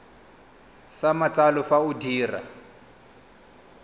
sa matsalo fa o dira